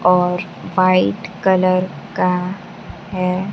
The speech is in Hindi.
और व्हाइट कलर का है।